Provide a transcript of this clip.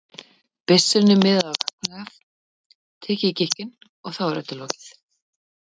byssunni miðað á gagnaugað, tekið í gikkinn, og þá er öllu lokið.